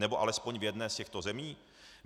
Nebo alespoň v jedné z těchto zemí?